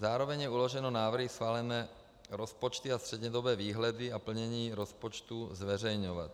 Zároveň je uloženo návrhy schválené rozpočty a střednědobé výhledy a plnění rozpočtů zveřejňovat.